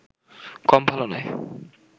কম ভালো নয়